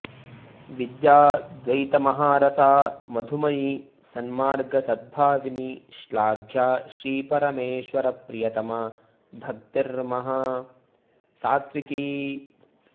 विद्या द्वैतमहारसा मधुमयी सन्मार्गसद्भाविनी श्लाघ्या श्रीपरमेश्वरप्रियतमा भक्तिर्महा सात्त्विकी